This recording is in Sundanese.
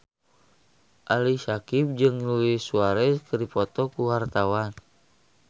Ali Syakieb jeung Luis Suarez keur dipoto ku wartawan